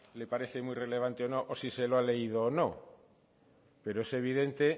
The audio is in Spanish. le parece muy relevante o no o si se lo ha leído o no pero es evidente